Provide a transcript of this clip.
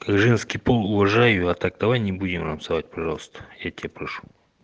женский пол уважаю а так давай не будем обзывать пожалуйста я тебя прошу